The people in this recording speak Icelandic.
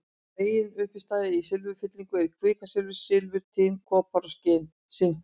Meginuppistaða í silfurfyllingum er kvikasilfur, silfur, tin, kopar og sink.